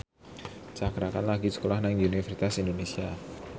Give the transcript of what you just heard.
Cakra Khan lagi sekolah nang Universitas Indonesia